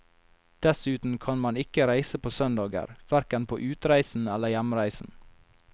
Dessuten kan man ikke reise på søndager, hverken på utreisen eller hjemreisen.